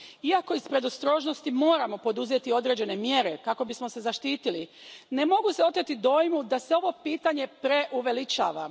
Iako iz predostrožnosti moramo poduzeti određene mjere kako bismo se zaštitili, ne mogu se oteti dojmu da se ovo pitanje preuveličava.